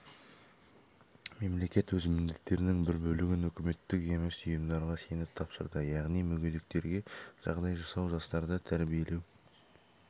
мемлекет өз міндеттерінің бір бөлігін үкіметтік емес ұйымдарға сеніп тапсырды яғни мүгедектерге жағдай жасау жастарды тәрбиелеу